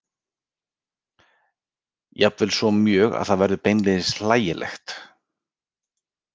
Jafnvel svo mjög að það verður beinlínis hlægilegt.